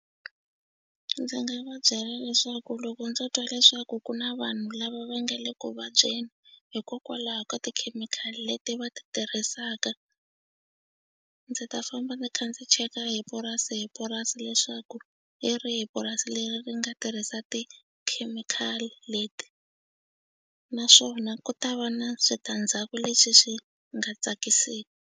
Ndzi nga va byela leswaku loko ndzo twa leswaku ku na vanhu lava va nge le ku vabyeni hikokwalaho ka tikhemikhali leti va ti tirhisaka ndzi ta famba ndzi kha ndzi cheka hi purasi hi purasi leswaku hi rihi purasi leri ri nga tirhisa tikhemikhali leti naswona ku ta va na switandzhaku leswi swi nga .